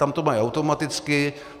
Tam to mají automaticky.